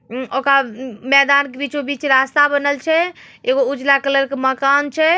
ऊ ओकरा मैदान के बीचो बिच रास्ता बनल छे। एगो उजला कलर के मकान छे।